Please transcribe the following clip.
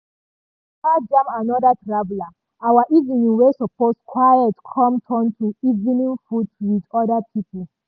as we waka jam anoda traveller our evening wey supose quiet com turn to evening food with other pipo.